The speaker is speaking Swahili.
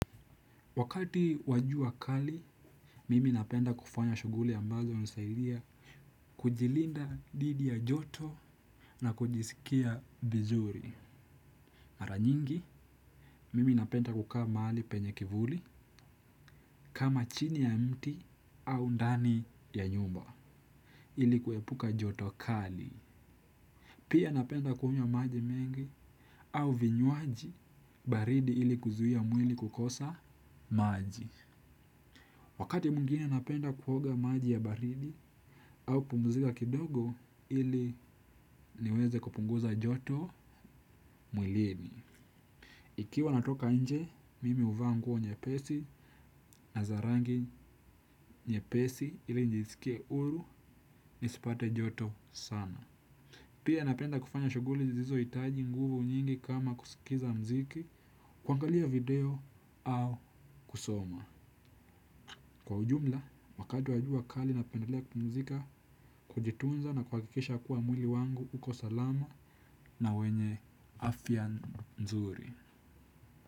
Wakati wa jua kali, mimi napenda kufanya shughuli ambazo hunisaidia kujilinda dhidi ya joto na kujisikia vizuri. Maranyingi, mimi napenda kukaa mahali penye kivuli kama chini ya mti au ndani ya nyumba ili kuepuka joto kali. Pia napenda kunywa maji mengi au vinywaji baridi ili kuzuia mwili kukosa maji. Wakati mwingine napenda kuoga maji ya baridi au kupumzika kidogo ili niweze kupunguza joto mwilini. Ikiwa natoka inje, mimi huvaa nguo nyepesi na za rangi nyepesi ili nijisikie huru nisipate joto sana. Pia napenda kufanya shughuli zisizo hitaji nguvu nyingi kama kusikiza mziki kwangalia video au kusoma. Kwa ujumla, wakati wajua kali napendelea kupumzika, kujitunza na kuhakikisha kuwa mwili wangu uko salama na wenye afya nzuri.